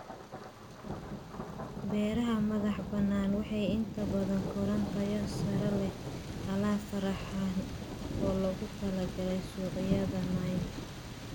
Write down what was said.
Beeraha madax-bannaani waxay inta badan koraan tayo sare leh, alaab farshaxan oo loogu talagalay suuqyada niche.